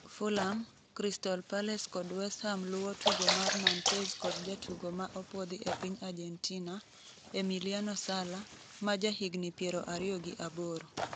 Fulham, Crystal Palace kod West Ham luwo tugo mar Nantes kod jatugo ma opuodhi e piny Argentina, Emiliano Sala, ma jahigni 28.